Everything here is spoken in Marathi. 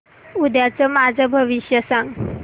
उद्याचं माझं भविष्य सांग